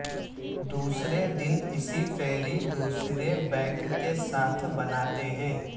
دوسرے دن اسی پھیری دوسرے بینک کے ساتھ بناتے ہیں